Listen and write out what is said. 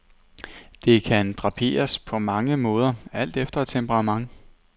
Det kan draperes på mange måder alt efter temperament.